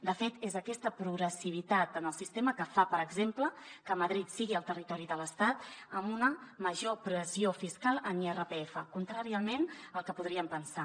de fet és aquesta progressivitat en el sistema que fa per exemple que madrid sigui el territori de l’estat amb una major pressió fiscal en irpf contràriament al que podríem pensar